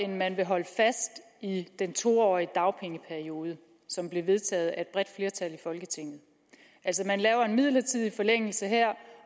man vil holde fast i den to årige dagpengeperiode som blev vedtaget af et bredt flertal i folketinget altså man laver en midlertidig forlængelse her